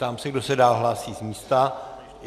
Ptám se, kdo se dál hlásí z místa.